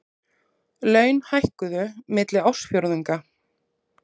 Laun hækkuðu milli ársfjórðunga